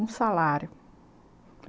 Um salário.